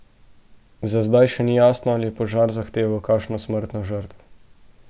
Za zdaj še ni jasno, ali je požar zahteval kakšno smrtno žrtev.